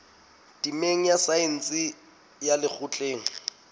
temeng ya saense ya lekgotleng